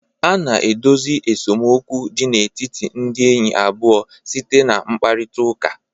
A na-edozi esemokwu dị n'etiti ndị enyi abụọ site na mkparịtaụka.